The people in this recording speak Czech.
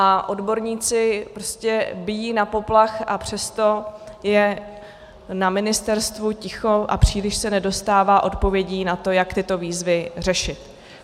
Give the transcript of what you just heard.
A odborníci prostě bijí na poplach, a přesto je na ministerstvu ticho a příliš se nedostává odpovědí na to, jak tyto výzvy řešit.